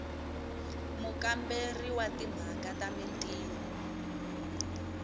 mukamberi wa timhaka ta mintirho